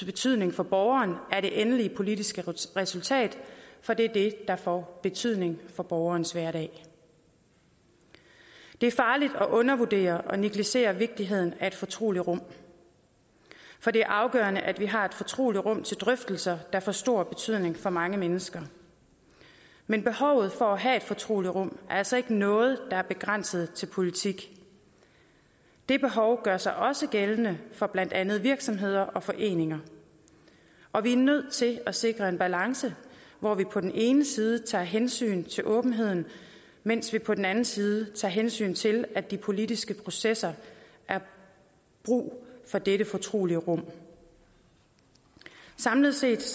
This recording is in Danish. betydning for borgeren at det endelige politiske resultat for det er det der får betydning for borgerens hverdag det er farligt at undervurdere og negligere vigtigheden af et fortroligt rum for det er afgørende at vi har et fortroligt rum til drøftelser der får stor betydning for mange mennesker men behovet for at have et fortroligt rum er altså ikke noget der er begrænset til politik det behov gør sig også gældende for blandt andet virksomheder og foreninger og vi er nødt til at sikre en balance hvor vi på den ene side tager hensyn til åbenheden mens vi på den anden side tager hensyn til at de politiske processer er brug for dette fortrolige rum samlet set